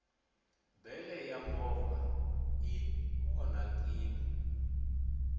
bele ya movha i onhakini